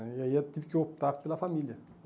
né E aí eu tive que optar pela família.